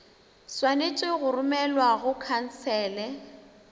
swanetše go romelwa go khansele